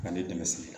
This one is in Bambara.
Ka ne dɛmɛ sɛnɛ